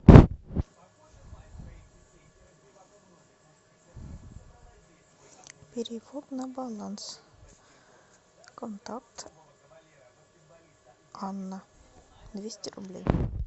перевод на баланс контакт анна двести рублей